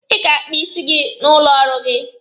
Ị ga-akpa isi gị n'ụlọ ọrụ gị